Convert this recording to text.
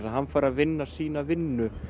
hann fær að vinna sína vinnu